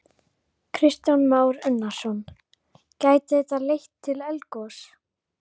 Kristján Már Unnarsson: Gæti þetta leitt til eldgoss?